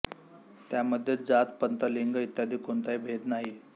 त्यामध्ये जात पंथ लिंग इत्यादी कोणताही भेद नाही